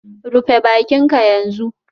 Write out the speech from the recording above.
Rufe bakinka yanzu